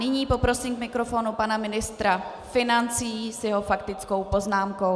Nyní poprosím k mikrofonu pana ministra financí s jeho faktickou poznámkou.